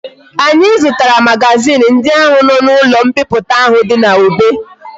Anyi zutara magazin ndi ahu na ulo mpiputa ahu di na obe